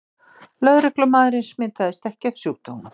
Lögreglumaðurinn smitaðist ekki af sjúkdómnum